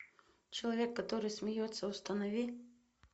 человек который смеется установи